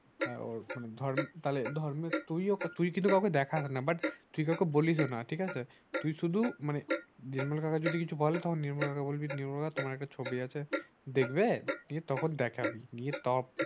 হ্যাঁ ওর তাহলে ধর্মেক তুই কিন্তু কাউকে দেখাস না তুই কাউকে বলিস ও না ঠিকাছে? তুই শুধু মানে নির্মল কাকা যদি কিছু বলে তখন নির্মল কাকাকে বলবি নির্মল কাকা তোমার একটা ছবি আছে দেখবে? তখন দেখাবি কি তখন